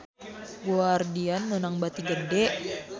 Guardian meunang bati gede